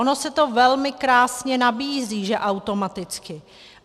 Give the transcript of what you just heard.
Ono se to velmi krásně nabízí, že automaticky.